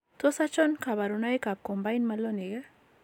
Tos achon kabarunaik ab Combined malonic ak